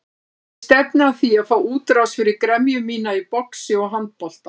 Ég stefni að því að fá útrás fyrir gremju mína í boxi og handbolta.